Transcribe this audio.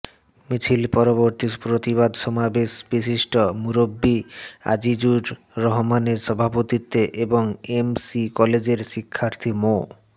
মিছিল পরবর্তী প্রতিবাদ সমাবেশ বিশিষ্ট মুরব্বী আজিজুর রহমানের সভাপতিত্বে এবং এমসি কলেজের শিক্ষার্থী মো